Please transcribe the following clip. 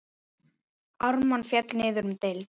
Ármann féll niður um deild.